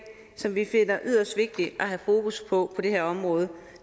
som vi finder yderst vigtigt at have fokus på på det her område og